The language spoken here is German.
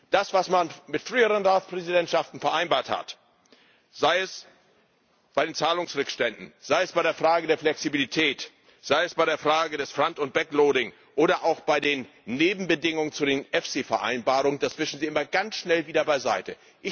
Das, was man mit früheren Ratspräsidentschaften vereinbart hat, sei es bei den Zahlungsrückständen, sei es bei der Frage der Flexibilität, sei es bei der Frage des Front und Backloading oder auch bei den Nebenbedingungen zu den EFSI Vereinbarungen, das wischen Sie immer ganz schnell wieder beiseite.